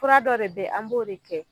Kura dɔ de be yen, an b'o de kɛ.